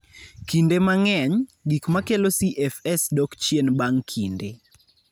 Kinde mang'eny, gik makelo CFS dok chien bang' kinde.